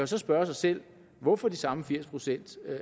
så spørge sig selv hvorfor de samme firs procent